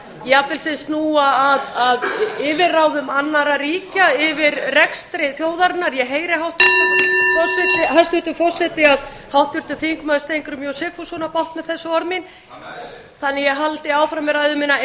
jafnvel sem snúa að yfirráðum annarra ríkja yfir rekstri þjóðarinnar ég heyri hæstvirtur forseti að háttvirtur þingmaður steingrímur j sigfússon á bágt með þessi orð mín þannig að ég haldi áfram með ræðu mína